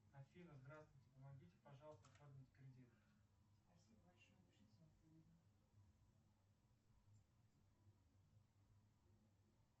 афина здравствуйте помогите пожалуйста оформить кредит